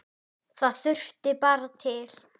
Það þurfti barn til.